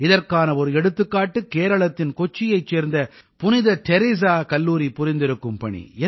இதற்கான ஒரு எடுத்துக்காட்டு கேரளத்தின் கொச்சியைச் சேர்ந்த புனித தெரெஸா கல்லூரி புரிந்திருக்கும் பணி